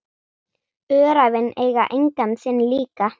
Öræfin eiga engan sinn líka.